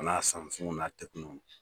O n'a